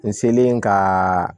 N selen ka